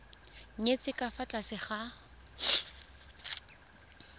nyetswe ka fa tlase ga